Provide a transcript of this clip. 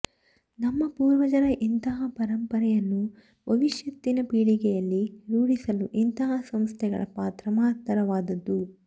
ನಮ್ಮ ಪೂರ್ವಜರ ಇಂತಹ ಪರಂಪರೆಯನ್ನು ಭವಿಷ್ಯತ್ತಿನ ಪೀಳಿಗೆಯಲ್ಲಿ ರೂಡಿಸಲು ಇಂತಹ ಸಂಸ್ಥೆಗಳ ಪಾತ್ರ ಮಹತ್ತರವಾದದ್ದು